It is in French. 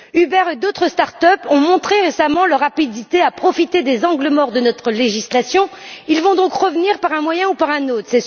Uber et d'autres start up ont montré récemment leur rapidité de décision pour profiter des angles morts de notre législation et vont donc revenir par un moyen ou par un autre.